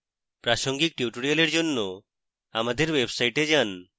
প্রাসঙ্গিক tutorials জন্য আমাদের website যান